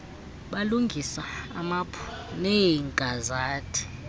balungisa iimaphu neegazethi